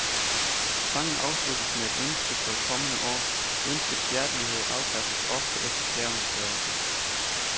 Sangen afsluttes med et ønske for det kommende år, ønskets hjertelighed afpasses ofte efter skærvens størrelse.